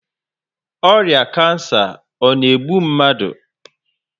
Ọrịa kansa ọ na-egbu mmadụ?